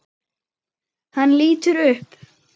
Hann lítur upp.